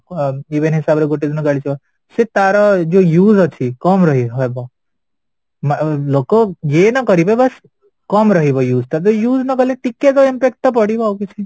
even ହିସାବରେ ଗୋଟେ ଦିନ ଗାଡି ସେ ତାର ଯୋଉ use ଅଛି କମ ରହିହବ ଲୋକ ୟେ ନ କରିବେ ବାସ କମ ରହିବ use ତାପରେ use ନକଲେ ଟିକେତ impact ପଡିବ ଆଉକିଛି ନାହିଁ